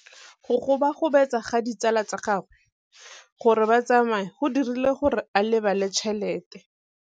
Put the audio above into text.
Go gobagobetsa ga ditsala tsa gagwe, gore ba tsamaye go dirile gore a lebale tšhelete.